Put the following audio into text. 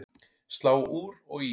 Slá úr og í